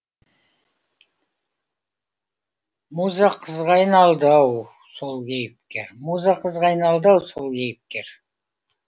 муза қызға айналды ау сол кейіпкер муза қызға айналды ау сол кейіпкер